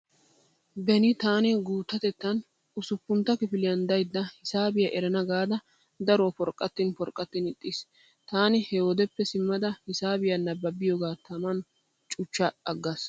Beni taani guuttatettan usuppuntta kifiliyan daydda hisaabiya erana gaada daruwa porqqattin porqqattin ixxiis. Taani he wodeppe simmada hisaabiya nabbabiyoogaa taman cuchcha aggaas.